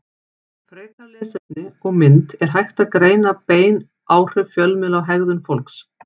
Frekara lesefni og mynd Er hægt að greina bein áhrif fjölmiðla á hegðun fólks?